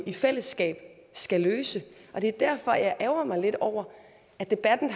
i fællesskab skal løse det er derfor jeg ærgrer mig lidt over at debatten